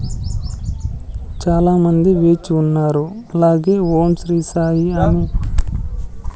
చాలామంది వేచి ఉన్నారు అలాగే ఓం శ్రీ సాయి అని--